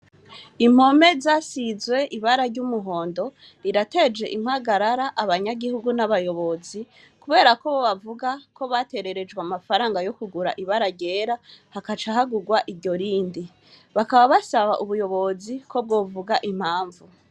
Impe zasizwe ibara ry'umuhondo zirateje impagarara abanyagihugu n'abayobozi. Kubera ko bavuga ko batererejwe amafaranga yo kugura ibara ryera hagaca hagurwa iryo rindi. Bakaba basaba ubuyobozi ko bwovuga impamvu.